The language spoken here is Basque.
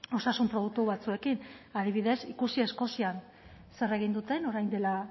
osasun produktu batzuekin adibidez ikusi eskozian zer egin duten orain dela